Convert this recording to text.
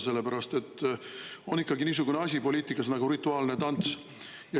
Poliitikas on niisugune asi nagu rituaalne tants.